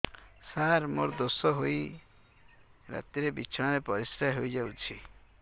ସାର ମୋର ଦୋଷ ହୋଇ ରାତିରେ ବିଛଣାରେ ପରିସ୍ରା ହୋଇ ଯାଉଛି